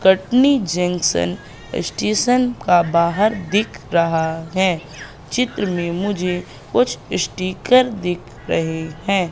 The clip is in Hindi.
कटनी जंक्शन स्टेशन का बाहर दिख रहा है चित्र में मुझे कुछ स्टीकर दिख रहे हैं।